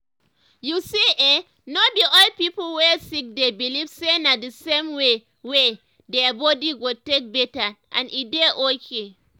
you see eh no be all pipo wey sick dey believe say na d same way way their body go take better and e dey okay